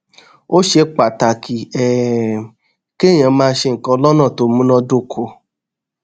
ó ṣe pàtàkì um kéèyàn máa ṣe nǹkan lónà tó múnádóko